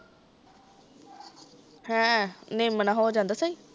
ਹੈ, ਨਿਮ ਨਾਲ਼ ਹੋ ਜਾਂਦਾ ਸਹੀ